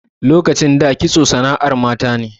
Lokacin da kitso sana'ar mata ne.